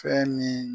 Fɛn ni